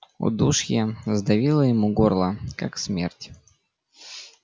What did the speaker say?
удушье сдавило ему горло как смерть